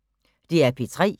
DR P3